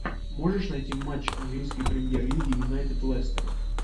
можешь найти матч английской премьер лиги юнайтед лестер